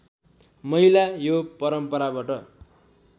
महिला यो परम्पराबाट